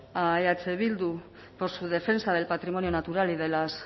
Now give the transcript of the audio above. a eh bildu por su defensa del patrimonio natural y de las